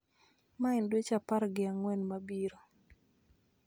ma en dweche apar gi ang'wen mabiro